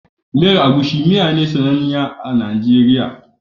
Miyar agusi miya ce mai sananniya a kasar Najeriya.